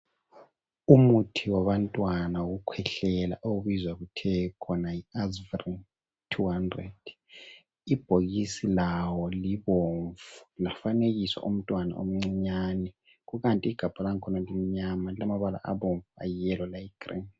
Umuthi wabantwana wokukhwehlela, okubizwa kuthe khona yiAzvrin 200. Ibhokisi lawo libomvu lafanekiswa umntwana omncinyane kukanti igabha lang'khona limnyama lilamabala abomvu, ayi yellow legreen.